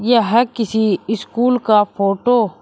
यह किसी स्कूल का फोटो --